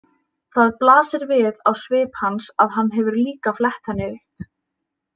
Það blasir við á svip hans að hann hefur líka flett henni upp.